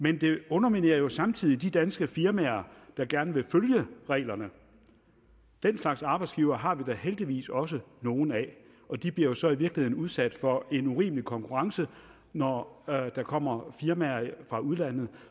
men det underminerer jo samtidig de danske firmaer der gerne vil følge reglerne den slags arbejdsgivere har vi da heldigvis også nogle af og de bliver jo så i virkeligheden udsat for en urimelig konkurrence når der kommer firmaer fra udlandet